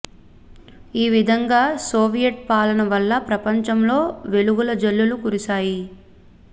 ఈ విధంగా సోవియట్ పాలన వల్ల ప్రపంచంలో వెలుగుల జల్లులు కురిశాయి